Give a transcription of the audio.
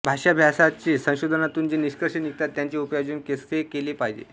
भाषाभ्यासाचे संशोधनातून जे निष्कर्ष निघतात त्याचे उपयोजन कसे केले पाहिजे